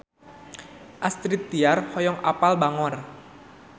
Astrid Tiar hoyong apal Bangor